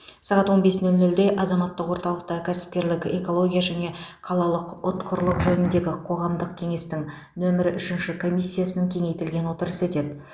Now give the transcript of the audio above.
сағат он бес нөл нөлде азаматтық орталықта кәсіпкерлік экология және қалалық ұтқырлық жөніндегі қоғамдық кеңестің нөмірі үшінші комиссиясының кеңейтілген отырысы өтеді